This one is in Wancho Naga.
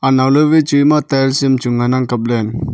anow ley wai chu ema tiles am cho ngan ang kap ley.